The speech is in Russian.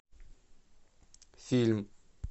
фильм